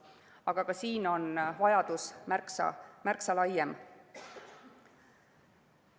Aga ka siin on vajadus märksa laiem.